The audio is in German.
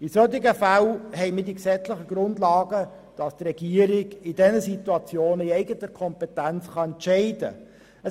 Für solche Fälle haben wir die gesetzlichen Grundlagen, damit der Regierungsrat in eigener Kompetenz entscheiden kann.